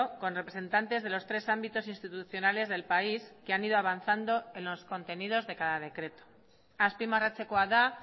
con representantes de los tres ámbitos institucionales del país que han ido avanzando en los contenidos de cada decreto azpimarratzekoa da